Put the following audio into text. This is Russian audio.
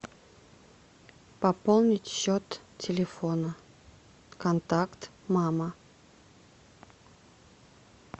пополнить счет телефона контакт мама